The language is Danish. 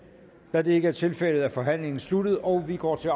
da det ikke er tilfældet er forhandlingen sluttet og vi går til